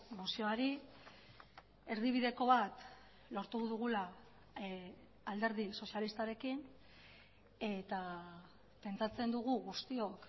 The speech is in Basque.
mozioari erdibideko bat lortu dugula alderdi sozialistarekin eta pentsatzen dugu guztiok